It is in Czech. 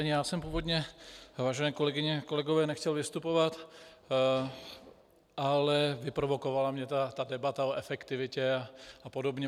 Ani já jsem původně, vážené kolegyně, kolegové, nechtěl vystupovat, ale vyprovokovala mě ta debata o efektivitě a podobně.